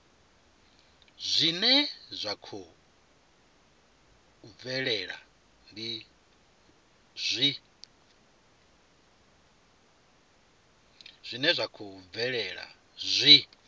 zwine zwa khou bvelela zwi